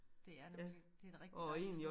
Det er nemlig det et rigtig dejligt sted